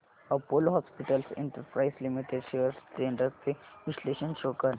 Apollo hospitals enterprise limited shares trends चे विश्लेषण show कर